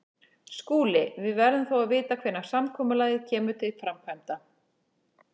SKÚLI: Við verðum þó að vita hvenær samkomulagið kemur til framkvæmda.